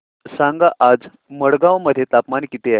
सांगा आज मडगाव मध्ये तापमान किती आहे